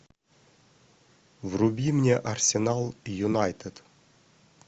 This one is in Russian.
вруби мне арсенал юнайтед